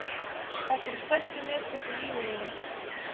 Þetta eru stærstu mistök í lífi mínu.